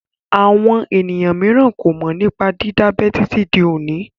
Àwọn ènìyàn mìíràn kò mọ̀ nípa dídábẹ títí di òní.